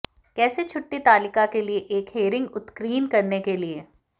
कैसे छुट्टी तालिका के लिए एक हेरिंग उत्कीर्ण करने के लिए